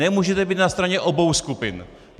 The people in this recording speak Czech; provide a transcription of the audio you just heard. Nemůžete být na straně obou skupin!